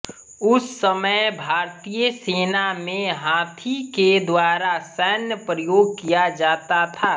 उस समय भारतीय सेना में हाथी के द्वारा सैन्य प्रयोग किया जाता था